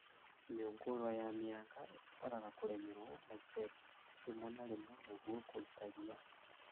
Mĩũngũrwa ya mĩanga ĩbataraga kũrĩmĩrwo na icembe rĩmwe na rĩmwe nĩguo kũruta rĩa